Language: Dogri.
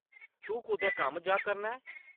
तूं कुतै कम्म जा करना ऐं?